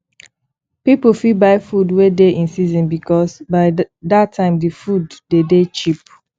pipo fit buy food wey dey in season because by that time di food de dey cheap